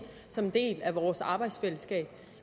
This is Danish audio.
som en del af vores arbejdsfællesskab